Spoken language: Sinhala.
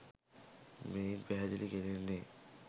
මෙයින් පැහැදිලි කෙරෙන්නේ